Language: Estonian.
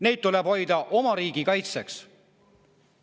Neid tuleb hoida oma riigi kaitseks.